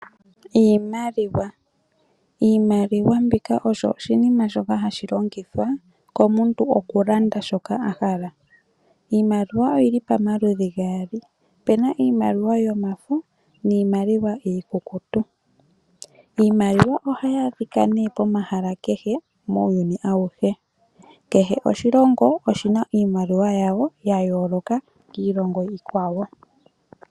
Iimaliwa. Iimaliwa mbika oyo oshinima shoka hashi longithwa komuntu okulanda shoka a hala. Iimaliwa oyi li pamaludhi gaali, pu na iimaliwa yomafo niimaliwa iikukutu. Iimaliwa ohayi adhika nee pomahala kehe. Kehe oshilongo oshi na iimaliwa yasho ya yooloka kiimaliwa yiilongo iikwawo.